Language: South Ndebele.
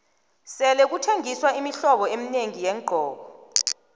sele kuthengiswa imihlobo eminengi yeengqoko